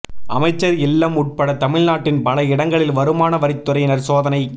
அமைச்சர் இல்லம் உட்பட தமிழ்நாட்டின் பல இடங்களில் வருமான வரித் துறையினர் சோதனை